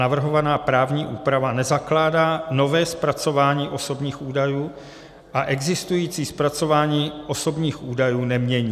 Navrhovaná právní úprava nezakládá nové zpracování osobních údajů a existující zpracování osobních údajů nemění.